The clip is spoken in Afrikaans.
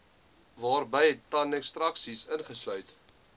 waarby tandekstraksie ingesluit